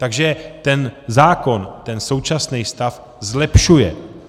Takže ten zákon ten současný stav zlepšuje.